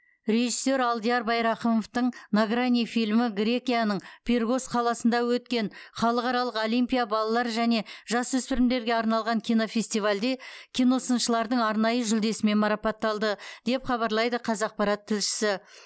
режиссер алдияр байрақымовтың на грани фильмі грекияның пиргос қаласында өткен халықаралық олимпия балалар және жасөспірімдерге арналған кинофестивальде киносыншылардың арнайы жүлдесімен марапатталды деп хабарлайды қазақпарат тілшісі